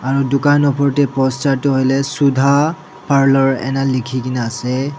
Aro dukhan opor dae poster tuh hoile Sudha Parlour ena lekhekena ase.